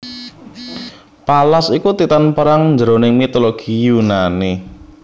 Pallas iku Titan perang jroning mitologi Yunani